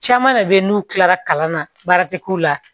Caman de bɛ ye n'u kilara kalan na baara tɛ k'u la